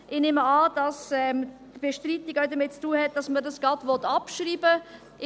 Ich nehme an, dass die Bestreitung auch damit zu tun hat, dass man das gleich abschreiben will.